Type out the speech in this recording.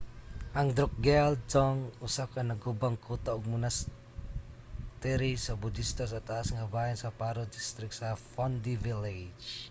ang drukgyal dzong usa ka nagubang kuta ug monastery sa budista sa taas nga bahin sa paro district sa phondey village